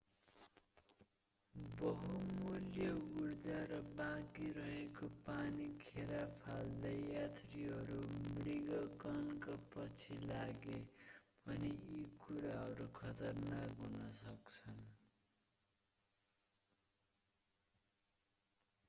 बहुमूल्य उर्जा र बाँकी रहेको पानी खेर फाल्दै यात्रीहरू मृगकणका पछि लागे भने यी कुराहरू खतरनाक हुन सक्छन्